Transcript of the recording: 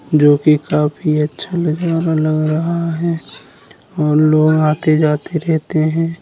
जो कि काफी अच्छा नजारा लग रहा है और लोग आते-जाते रहते हैं।